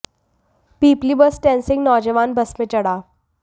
पिपली bus stand से एक नौजवान बस में चढ़ा